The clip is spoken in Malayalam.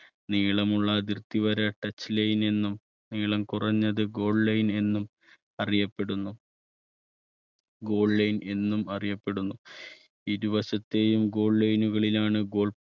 നീളമുള്ള അതിർത്തിവര touch line എന്നും നീളം കുറഞ്ഞത് goal line എന്നും അറിയപ്പെടുന്നു. goal line എന്നും അറിയപ്പെടുന്നു ഇരുവശത്തെയും goal line കളിലാണ് goal